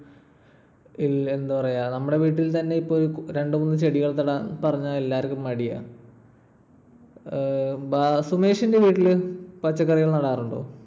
എന്താ പറയാ. നമ്മടെ വീട്ടിൽ തന്നെ ഇപ്പൊ രണ്ടുമൂന്നു ചെടികൾ നടാൻ പറഞ്ഞാൽ എല്ലാർക്കും മടിയാ. ഏർ സുമേഷിന്റെ വീട്ടില് പച്ചക്കറികൾ നടാറുണ്ടോ?